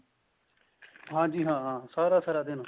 ਹਾਂਜੀ ਹਾਂ ਸਾਰਾ ਸਾਰਾ ਦਿਨ